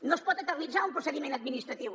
no es pot eternitzar un procediment administratiu